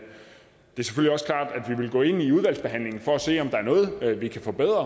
vi vil gå ind i udvalgsbehandlingen for at se om der er noget vi kan forbedre